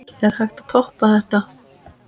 Er hægt að toppa þetta?